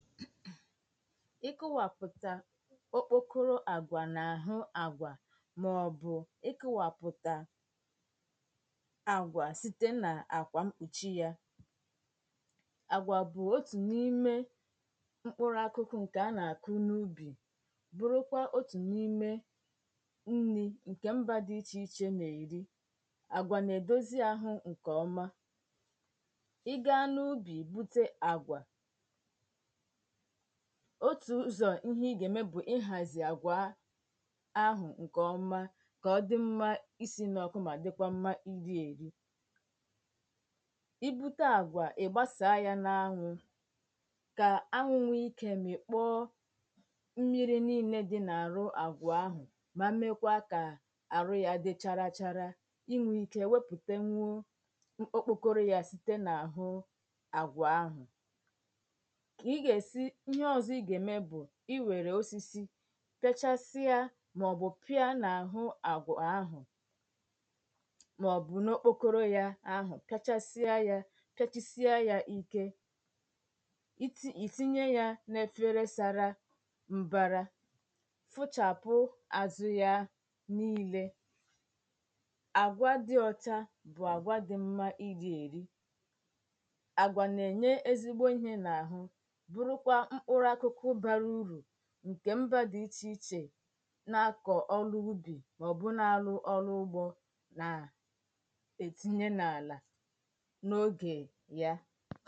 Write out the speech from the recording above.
ikowaàpụ̀tá ókpòkụrụ àgwà n’àhụ̀ àgwà màọ̀bụ̀ ikowapụ̀tá àgwà site nà-àkwà mkpùchi yȧ àgwà bụ̀ otù n’ime mkpụrụ akụkụ ǹkè a nà-àkụ n’ubì bụrụkwa otù n’ime nri ǹkè mbà dị ichè ichè mèrì àgwà nà-èdòzi àhụ ǹkèọ̀ma ị gȧȧ n’ubì bute àgwà otu̇ ụzọ̀ ihe ị gà-ème bụ̀ ị hàzị̀ àgwà ahụ̀ ǹkè ọma kà ọdị̇ mmȧ isi̇ n’ọ̀kụ mà dịkwa mmȧ iri èri i bute àgwà ị̀ gbasàa yȧ n’anwụ̇ kà anwụnwụ ikė mị̀kpọ mmiri niilė dị n’àrụ àgwà ahụ̀ ma mekwaa kà àrụ ya dị chara chara inwė ike wepùte nwụọ mkpụkọrụ yȧ site n’àhụ àgwà ahụ̀ iwere osisi pechasịa maọbụ pia n’ahụ agwọ ahụ maọbụ n’okpokoro ya ahụ kachasịa ya kachasịa ya ike it itinye ya n’efere sara mbara fụchapụ azụ ya n’ile agwa dị ọta bụ agwa dị mma iji eri agwa na-enye ezigbo ihe n’ahụ ǹkè mbà dị ichèichè nà-akọ̀ ọnụ ubì màọ̀bụ̀ nà-alụ ọnụ ụgbọ nà-ètinye n’àlà n’oge ya